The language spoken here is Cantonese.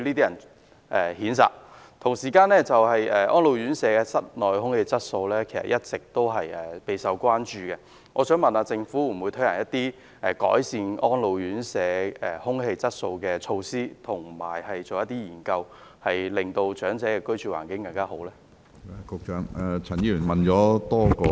與此同時，安老院舍的室內空氣質素一直備受關注，就此，政府會否推行一些改善安老院舍空氣質素的措施，並進行一些研究，以期令長者有更好的居住環境？